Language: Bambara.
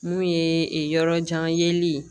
Mun ye yɔrɔ jan yeli ye